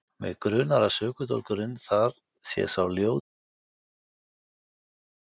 Mig grunar að sökudólgurinn þar sé sá ljóti ormur sem ég hef sagt þér frá.